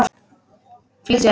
Flýttu þér.